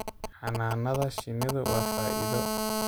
Xannaanada shinnidu waa faa'iido.